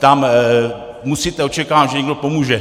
Tam musíte očekávat, že někdo pomůže.